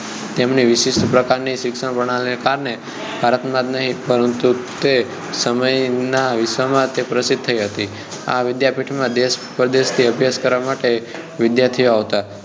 તેમની વિશિષ્ટ પ્રકાર ની શિક્ષણ પ્રણાલીને કારણે ભારતમાં જ નહિ પરંતુ તે સમયનાં વિશ્વ માં તે પ્રસિદ્ધ થઈ હતી આ વિદ્યાપીઠ માં દેશ પરદેશ થી અભ્યાસ કરવા માટે વિદ્યાર્થીઓ આવતાં